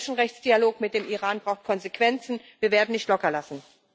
Der Menschenrechtsdialog mit dem Iran braucht Konsequenzen wir werden nicht lockerlassen.